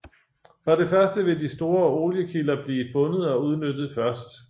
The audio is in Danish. For det første vil de store oliekilder blive fundet og udnyttet først